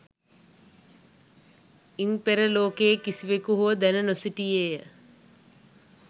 ඉන් පෙර ලෝකයේ කිසිවෙකු හෝ දැන නොසිටියේය.